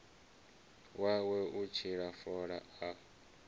wawe u litsha fola a